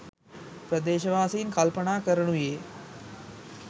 ප්‍රදේශවාසීන් කල්පනා කරනුයේ